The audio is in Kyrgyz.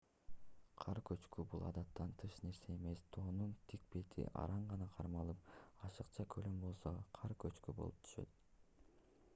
кар көчкү бул адаттан тыш нерсе эмес тоонун тик бети араң гана кармалып ашыкча көлөмү болсо кар көчкү болуп түшөт